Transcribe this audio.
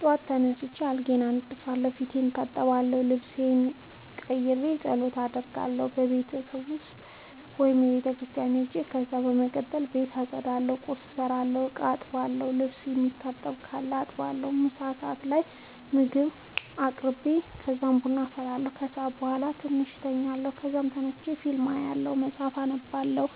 ጠዋት ተነስቼ አልጋዬን አነጥፋለሁ፣ ፊቴን እታጠባለሁ፣ ልብሴን ቀይሬ ፀሎት አደርጋለሁ(ቤት ውስጥ ወይም ቤተክርስቲያን ሄጄ) ከዛ በመቀጠል ቤት አፀዳለሁ፣ ቁርስ እሰራለሁ፣ እቃ አጥባለሁ፣ ልብስ የሚታጠብ ካለ አጥባለሁ፣ ምሳ ሰዓት ላይ ምግብ አቅርቤ ከዛ ቡና አፈላለሁ። ከሰዓት በኋላ ትንሽ ተኛለሁ ከዛ ተነስቼ ፊልም አያለሁ መፀሀፍ አነባለሁ።